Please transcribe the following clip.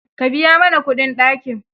Ka biya mana kudin ɗakin.